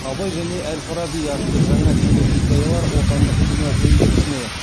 абай және әл фараби атты жаңа телехикаялар отандық кино өндірісіне